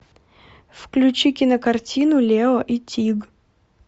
включи кинокартину лео и тиг